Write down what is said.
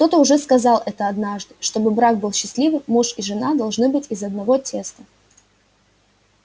кто-то уже сказал это однажды чтобы брак был счастливым муж и жена должны быть из одного теста